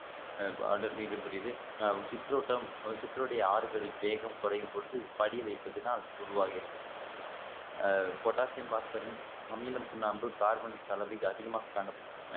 அடர் நெறம் உடையது சிற்றோட்டம் சிற்றருடைய ஆறுகளின் வேகம் குறையும் பொழுது படிய வைப்பதினால் உருவாகிறது அ potassium phosphorin அமிலம் சுண்ணாம்பு கார்பன் கலவை அதிகமாக காணப்படுகின்றன